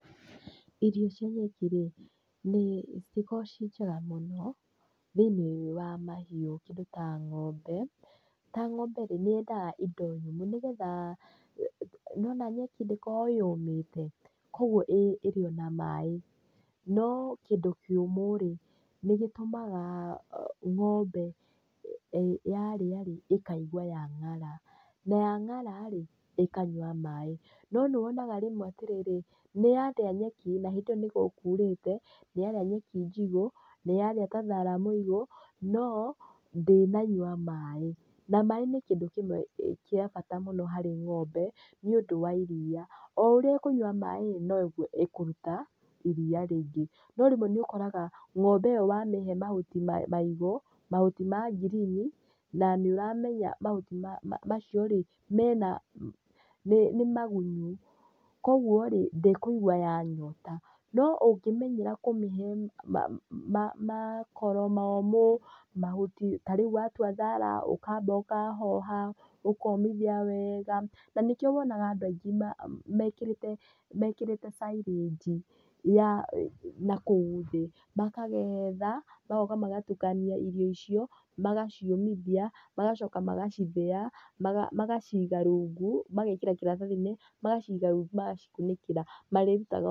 Irio cia nyeki rĩ, nĩ citikoragwo ciĩ njega mũno thĩiniĩ wa mahiũ kĩndũ ta ng'ombe. Ta ng'ombe rĩ nĩ yendaga indo nyũmũ nĩgetha nĩ wona nyeki ndĩkoragwo yũmĩte, koguo ĩrĩo na maĩ. No kĩndũ kĩũmũ rĩ nĩ gĩtũmaga yarĩa rĩ ĩkaigua ya ngara na yangara rĩ, ĩkanyua maĩ. No nĩ wonaga rĩmwe atĩrĩrĩ nĩ yarĩa nyeki na hĩndĩ ĩyo nĩ gũkurĩte, nĩ yarĩa nyeki njigũ ni yarĩa ta thara mũigũ no ndinanyua maĩ, na maĩ nĩ kĩndũ kĩmwe gĩa bata mũno harĩ ng'ombe nĩ ũndũ wa iria. O ũrĩa ĩkũnyua maĩ rĩ, noguo ĩkũruta iria rĩingĩ. No rĩmwe nĩ ũkoraga ng'ombe ĩyo wamĩhe mahuti maigũ, mahuti ma ngirini, na nĩ ũramenya mahuti macio rĩ mena nĩ magunyu. Koguo rĩ ndĩkũigwa yanyota, no ungĩmenyera kũmĩhe makoro momũ mahuti tarĩu watua thara ũkamba ũkahoha ũkomithia wega, na nĩkĩo wonaga andũ mekĩrĩte, mekĩrĩte silage na kũu thĩ. Makagetha magoka magatukania indo icio, magaciũmithia magacoka magacithĩa magacoka magaciga rungu, magekĩra kĩratathi-inĩ magaciga rungu magacikunĩkĩra marĩrutaga o kahora.